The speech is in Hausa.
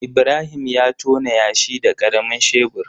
Ibrahim ya tona yashi da karamin shebur.